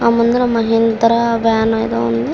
ఆ ముందర మహీంద్రా వ్యాన్ ఏదో ఉంది.